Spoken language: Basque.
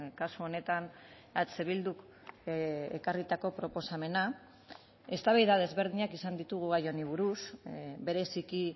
kasu honetan eh bilduk ekarritako proposamena eztabaida desberdinak izan ditugu gai honi buruz bereziki